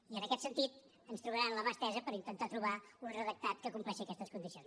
i en aquest sentit ens trobaran amb la mà estesa per intentar trobar un redactat que compleixi aquestes condicions